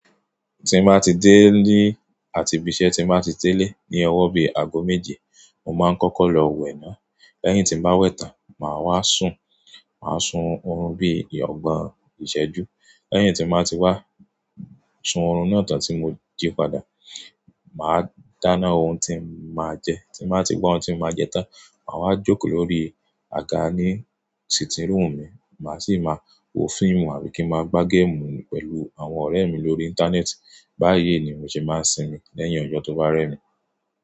Tí má ti dé ilé àti bí iṣẹ́ ti má ti dẹ́lẹ̀ ní ọwọ́ bí i ago méje, mo máa ń kọ́kọ́ lọ wẹ̀ náà. Lẹ́yìn tí màá wẹ̀ tàn, màá wá sun, màá sun oorun bí i ọgbọ̀n ìṣẹ́jú. Lẹ́yìn tí màá ti wá sun oorun náà tán tí mo jí padà, màá dáná ohun tí màá jẹ. Tí màá ti gbọn ohun tí màá jẹ tán, màá wá jókòó lórí àga ní títì rúùn mi, màá sì máa wo fíìmù àbí kí n máa gbá géèmù pẹ̀lú àwọn ọ̀rẹ́ mi lórí Íńtánẹ́ẹ̀tì. Bá yìí ni òun ṣe máa ń sinmi lẹ́yìn ọjọ́ tó bá rẹ́ mi.